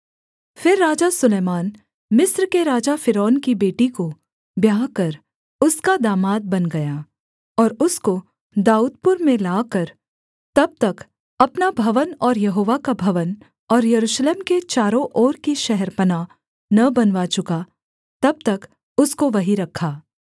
फिर राजा सुलैमान मिस्र के राजा फ़िरौन की बेटी को ब्याह कर उसका दामाद बन गया और उसको दाऊदपुर में लाकर तब तक अपना भवन और यहोवा का भवन और यरूशलेम के चारों ओर की शहरपनाह न बनवा चुका तब तक उसको वहीं रखा